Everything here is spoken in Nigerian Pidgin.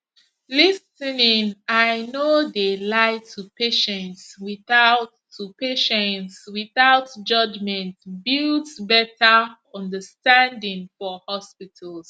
lis ten ing i no de lie to patients without to patients without judgment builds betta understanding for hospitals